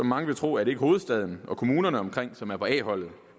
mange vil tro at det er hovedstaden og kommunerne omkring som er på a holdet